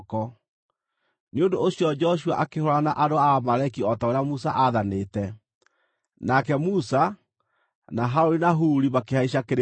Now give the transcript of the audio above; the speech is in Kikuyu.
Nĩ ũndũ ũcio Joshua akĩhũũrana na andũ a Amaleki o ta ũrĩa Musa aathanĩte; nake Musa, na Harũni na Huri makĩhaica kĩrĩma-inĩ.